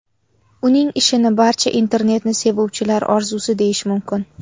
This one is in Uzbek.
Uning ishini barcha internetni sevuvchilar orzusi deyish mumkin.